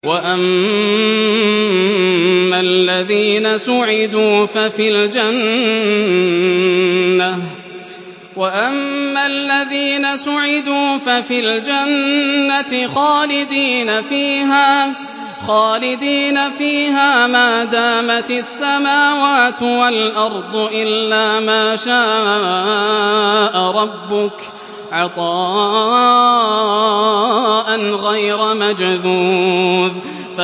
۞ وَأَمَّا الَّذِينَ سُعِدُوا فَفِي الْجَنَّةِ خَالِدِينَ فِيهَا مَا دَامَتِ السَّمَاوَاتُ وَالْأَرْضُ إِلَّا مَا شَاءَ رَبُّكَ ۖ عَطَاءً غَيْرَ مَجْذُوذٍ